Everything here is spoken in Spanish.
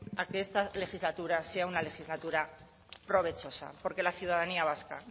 a que esta legislatura sea una legislatura provechosa porque la ciudadanía vasca